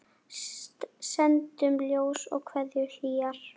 Sendum ljós og kveðjur hlýjar.